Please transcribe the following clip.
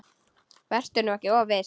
Vertu nú ekki of viss.